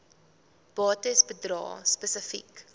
bates bedrae spesifiek